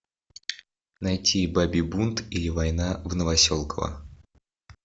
найти бабий бунт или война в новоселково